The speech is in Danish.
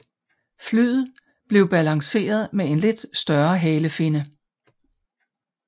Flyet blev balanceret med en lidt større halefinne